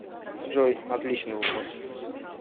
джой отличный вопрос